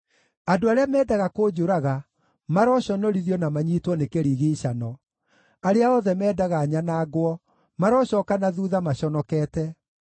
Andũ arĩa mendaga kũnjũraga maroconorithio na manyiitwo nĩ kĩrigiicano; arĩa othe mendaga nyanangwo marocooka na thuutha maconokete.